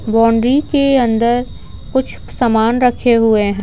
Boundary के अंदर कुछ सामान रखे हुए हैं।